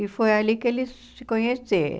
E foi ali que eles se conheceram.